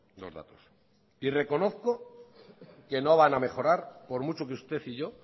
los datos reconozco que no van a mejorar por mucho que usted y yo